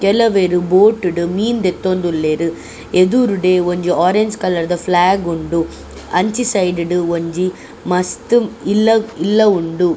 ಕೆಲವೆರ್ ಬೋಟ್ ಡು ಮೀನ್ ದೆತ್ತೊಂದುಲ್ಲೆರ್ ಎದೂರುಡೆ ಒಂಜಿ ಓರೆಂಜ್ ಕಲರ್ದ ಫ್ಲೇಗ್ ಉಂಡು ಅಂಚಿ ಸೈಡ್ ಡ್ ಒಂಜಿ ಮಸ್ತ್ ಇಲ್ಲ್ ಇಲ್ಲ ಉಂಡು.